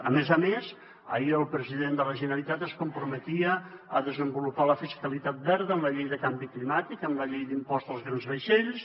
a més a més ahir el president de la generalitat es comprometia a desenvolupar la fiscalitat verda en la llei de canvi climàtic en la llei de l’impost als grans vaixells